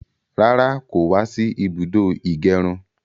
Rárá, kò wá sí ibùdó ìgẹrun.